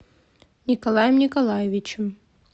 николаем николаевичем